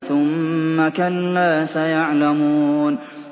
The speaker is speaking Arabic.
ثُمَّ كَلَّا سَيَعْلَمُونَ